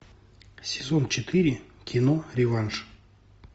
сезон четыре кино реванш